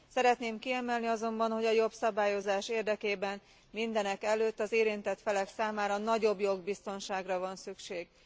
Szeretném kiemelni azonban, hogy a jobb szabályozás érdekében mindenekelőtt az érintett felek számára nagyobb jogbiztonságra van szükség.